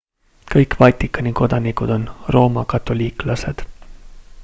kõik vatikani kodanikud on roomakatoliiklased